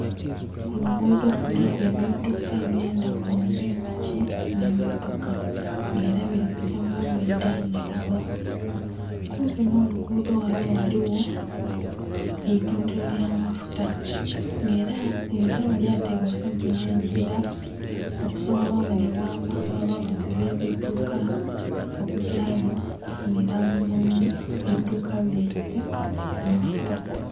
Ku luguudho kuliku ebiduka eby'endaghulo ng'epiki nh'emmotoka nga ela bili kugya mu ndhuyi dha ndhaghulo. Kumpi nh'oluguudho ghano ghaligho eitundhilo ly'amafuta nga ela liyinza oba lyatebwa kumpi nh'engila okusobola obonhebwa amangu abavuzi b'ebiduka okugyayo okufunhila mu biduka byaibwe amafuta.